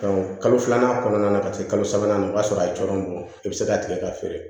kalo filanan kɔnɔna na ka se kalo sabanan ma o y'a sɔrɔ a coron i be se k'a tigɛ k'a feere